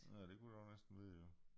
Ja det kunne det også næsten være ja